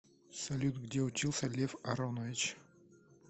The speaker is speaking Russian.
салют где учился лев аронович